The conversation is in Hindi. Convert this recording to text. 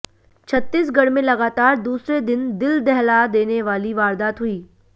छत्तीसगढ़ में लगातार दूसरे दिन दिल दहला देने वाली वारदात हुई है